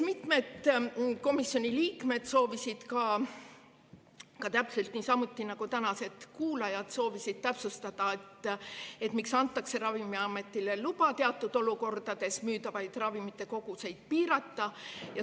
Mitmed komisjoni liikmed soovisid täpselt niisamuti nagu tänased kuulajad täpsustada, miks antakse Ravimiametile teatud olukordades luba müüdavate ravimite koguseid piirata.